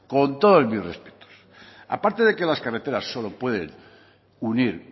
con todos mis respetos aparte de que las carreteras solo pueden unir